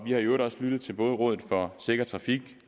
i øvrigt også lyttet til både rådet for sikker trafik